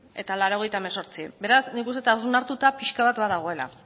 eta laurogeita hemezortzi beraz nik uste dut hausnartuta pixka bat badagoela